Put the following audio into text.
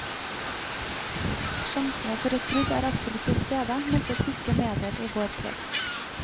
Sjansene for et brudd er absolutt til stede, meldte tyske medier i går kveld.